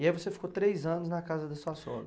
E aí você ficou três anos na casa da sua sogra?